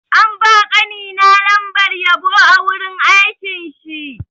An ba ƙani na lambar yabo a wurin aikin shi.